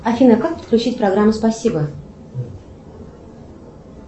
афина как подключить программу спасибо